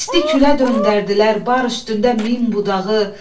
İstiqülə döndərdilər bar üstündə min budağı.